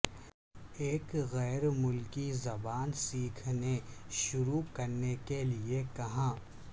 ایک غیر ملکی زبان سیکھنے شروع کرنے کے لئے کہاں